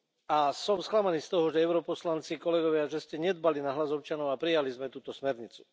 A som sklamaný z toho, že europoslanci, kolegovia, že ste nedbali na hlas občanov a prijali sme túto smernicu.